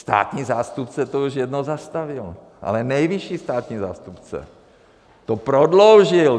Státní zástupce to již jednou zastavil, ale nejvyšší státní zástupce to prodloužil.